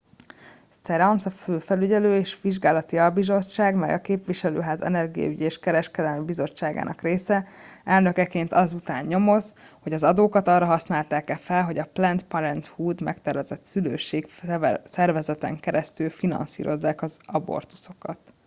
stearns a felügyelő és vizsgálati albizottság - mely a képviselőház energiaügyi és kereskedelmi bizottságának része - elnökeként az után nyomoz hogy az adókat arra használták-e fel hogy a planned parenthood megtervezett szülőség szervezeten keresztül finanszírozzák az abortuszokat